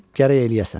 gərək eləyəsən.